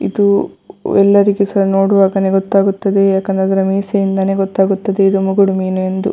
ಇದು ಎಲ್ಲರಿಗೂ ಸಹ ನೋಡುವಾಗಲೇ ಗೊತ್ತಾಗುತ್ತದೆ ಯಾಕೆಂದರೆ ಅದರ ಮೀಸೆಯಿಂದಲ್ಲೆ ಗೊತ್ತಾಗುತ್ತದೆ ಅದು ಮುಗುಡು ಮೀನು ಏಂದು.